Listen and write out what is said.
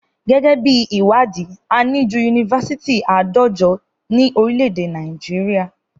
Gẹ́gẹ́ bí ìwádìí, ó lé ní yunifasiti àádọ́jọ tí ó wà ní orílè èdè Nàìjíríà